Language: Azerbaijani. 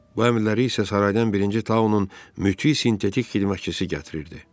Bu əmrləri isə saraydan birinci taunun mütis sintetik xidmətçisi gətirirdi.